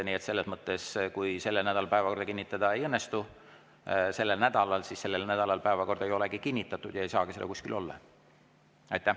Nii et kui selle nädala päevakorda sellel nädalal kinnitada ei õnnestu, siis sellel nädalal päevakorda ei olegi kinnitatud ja ei saagi seda kuskil olla.